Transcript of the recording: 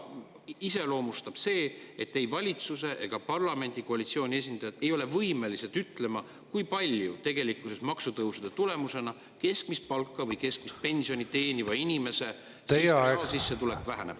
Iseloomulik on see, et ei valitsusse ega parlamenti koalitsiooni esindajad ei ole võimelised ütlema, kui palju tegelikkuses maksutõusude tulemusena keskmist palka või keskmist pensioni teeniva inimese reaalsissetulek väheneb.